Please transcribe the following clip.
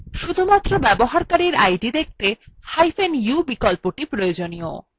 শুধুমাত্র ব্যবহারকারীর id দেখতে hyphen u বিকল্পটি প্রয়োজনীয়